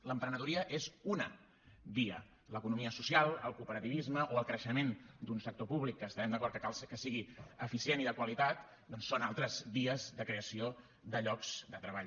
l’emprenedoria és una via l’economia social el cooperativisme o el creixement d’un sector públic que estarem d’acord que cal que sigui eficient i de qualitat doncs són altres vies de creació de llocs de treball